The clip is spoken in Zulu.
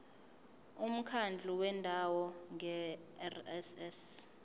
umkhandlu wendawo ngerss